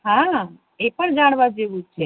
હા એ પણ જાણવા જેવું છે